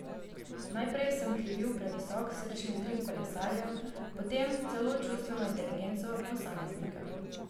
Najprej sem krivil previsok srčni utrip kolesarjev, potem celo čustveno inteligenco posameznika.